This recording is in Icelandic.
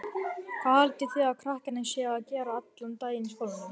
Hvað haldið þið að krakkarnir séu að gera allan daginn í skólanum?